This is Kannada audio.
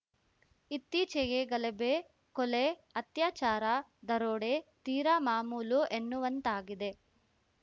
ಇತ್ತೀಚೆಗೆ ಗಲಭೆ ಕೊಲೆ ಅತ್ಯಾಚಾರ ದರೋಡೆ ತೀರಾ ಮಾಮುಲು ಎನ್ನುವಂತಾಗಿದೆ